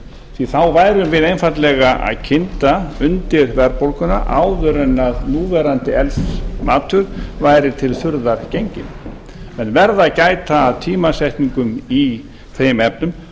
því þá værum við einfaldlega að kynda undir verðbólguna áður en að núverandi eldsmatur verður til þurrðar genginn menn verða að gæta að tímasetningum í þeim efnum